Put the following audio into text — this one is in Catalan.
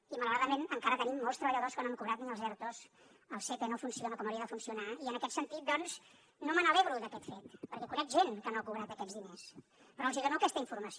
i malauradament encara tenim molts treballadors que no han cobrat ni els ertos el sepe no funciona com hauria de funcionar i en aquest sentit doncs no m’alegro d’aquest fet perquè conec gent que no ha cobrat aquests diners però els dono aquesta informació